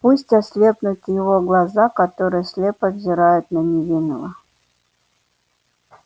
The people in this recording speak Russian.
пусть ослепнут его глаза которые слепо взирают на невинного